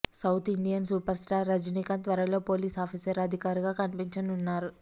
south Indian super star Rajinikanth త్వరలో police officer అధికారిగా కనిపించనున్నారు